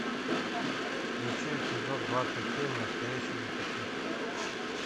включи эпизод двадцать семь настоящий детектив